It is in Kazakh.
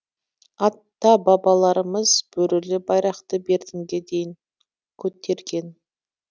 ата бабаларымыз бөрілі байрақты бертінге дейін көтерген